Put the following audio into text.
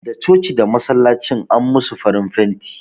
Da coci da masallacin an musu farin fenti